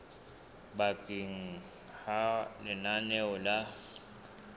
ba teng ha lenaneo la